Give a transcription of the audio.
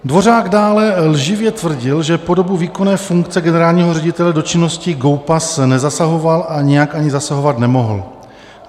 Dvořák dále lživě tvrdil, že po dobu výkonu funkce generálního ředitele do činnosti GOPAS nezasahoval a nijak ani zasahovat nemohl.